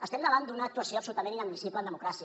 estem davant d’una actuació absolutament inadmissible en democràcia